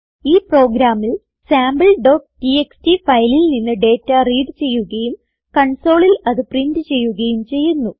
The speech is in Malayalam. ഈ പ്രോഗ്രാമിൽ sampleടിഎക്സ്ടി ഫയലിൽ നിന്ന് ഡേറ്റ റീഡ് ചെയ്യുകയും കൺസോളിൽ അത് പ്രിന്റ് ചെയ്യുകയും ചെയ്യുന്നു